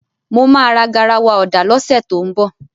Mo máa ra garawa ọ̀dà lọ́sẹ̀ tó ń bọ̀.